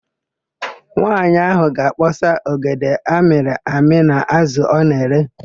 Nwaanyị áhụ̀ ga-akpọsa ogede amịrị amị na ázụ̀ ọ na-ere.